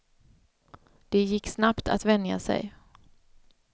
Det gick snabbt att vänja sig.